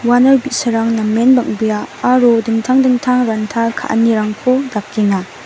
uano bi·sarang namen bang·bea aro dingtang dingtang ranta ka·anirangko dakenga.